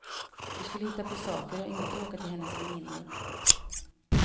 Vi skulle hitta på saker och inte åka till hennes väninnor.